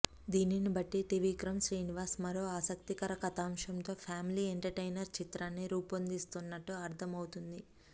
దీనినిబట్టి త్రివిక్రమ్ శ్రీనివాస్ మరో ఆసక్తికర కథాంశంతో ఫ్యామిలీ ఎంటర్టైనర్ చిత్రాన్ని రూపొందిస్తున్నట్లు అర్థం అవుతోంది